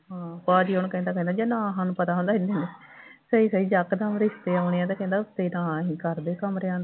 ਹਾਂ ਭਾਅ ਜੀ ਉਹਨੂੰ ਕਹਿੰਦਾ ਕਹਿੰਦਾ ਜੇ ਨਾ ਸਾਨੂੰ ਪਤਾ ਹੁੰਦਾ ਸਹੀ ਸਹੀ ਜੱਕ ਦੱਮ ਰਿਸ਼ਤੇ ਆਉਣੇ ਆ ਤੇ ਕਹਿੰਦਾ ਉੱਥੇ ਥਾਂ ਅਸੀਂ ਕਮਰਿਆਂ ਦਾ